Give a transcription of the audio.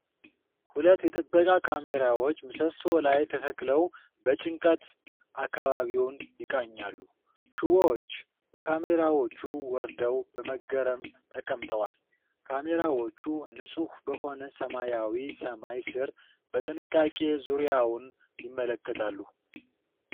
ሁለት የጥበቃ ካሜራዎች ምሰሶ ላይ ተተክለው በጭንቀት አካባቢውን ይቃኛሉ። ሽቦዎች ከካሜራዎቹ ወርደው በመገረም ተቀምጠዋል። ካሜራዎቹ ንፁህ በሆነ ሰማያዊ ሰማይ ስር በጥንቃቄ ዙሪያውን ይመለከታሉ።